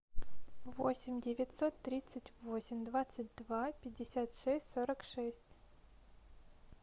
восемь девятьсот тридцать восемь двадцать два пятьдесят шесть сорок шесть